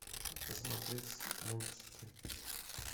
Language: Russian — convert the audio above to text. посмотреть мультики